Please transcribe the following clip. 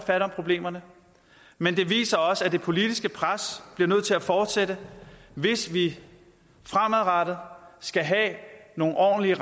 fat om problemerne men det viser også at det politiske pres bliver nødt til at fortsætte hvis vi fremadrettet skal have nogle ordentlige